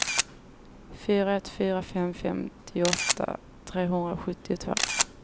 fyra ett fyra fem femtioåtta trehundrasjuttiotvå